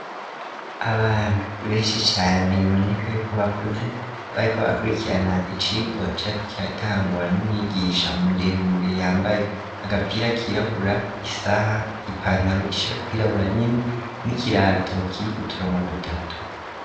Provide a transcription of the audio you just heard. Abantu benshi cane biboneka yuko bakuze bari ko bakurikirana icigwa cariko kiratangwa n'umwigisha muremure yambaye agapira kirabura isaha, ipantaro ishaka kwirabura nyene n'ikirato kiyikuturano dutatu.